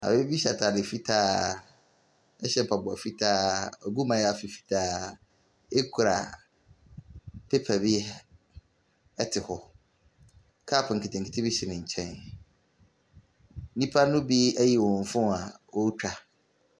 Maame bi hya atadeɛ fitaa hyɛ mpaboa fitaa, wagu mayaafi fitaa kura paper bi te hɔ. Cup nketenkete bi si ne nkyɛn. Nnipa no bi ayi wɔn phone a wɔretwa.